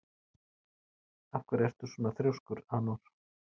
Af hverju ertu svona þrjóskur, Anor?